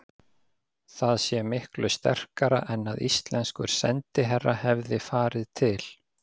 Það sé miklu sterkara en að íslenskur sendiherra hefði farið til